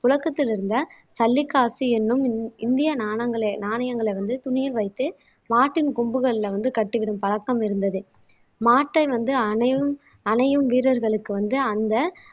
புழக்கத்தில் இருந்த சல்லிக்காசு என்னும் இந் இந்திய நாணங்களை நாணயங்களை வந்து துணியில் வைத்து மாட்டின் கொம்புகள்ல வந்து கட்டிவிடும் பழக்கம் இருந்தது மாட்டை வந்து அணையு அணையும் வீரர்களுக்கு வந்து அந்த